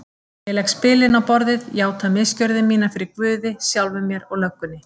Ég legg spilin á borðið, játa misgjörðir mínar fyrir guði, sjálfum mér og löggunni.